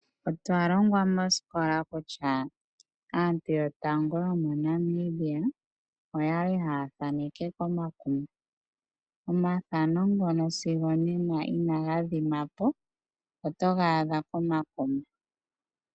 Otwa longwa mosikola kutya aantu yotango yomoNamibia oyali haa thaneke komamanya. Omafano ngono sigo onena inaga dhima po otaga adha komamanya.